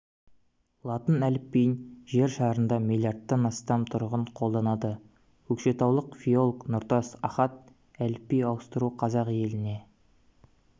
латын әліпбиін жер шарында миллиардтан астам тұрғын қолданады көкшетаулық филолог нұртас ахат әліпби ауыстыру қазақ еліне